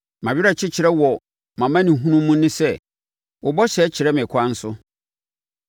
Mʼawerɛkyekyerɛ wɔ mʼamanehunu mu ne sɛ: Wo bɔhyɛ kyɛe me nkwa so.